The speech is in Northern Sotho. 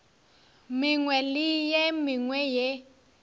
mengwe le ye mengwe ye